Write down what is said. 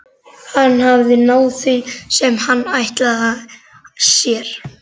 Hann hafði náð því sem hann ætlaði sér.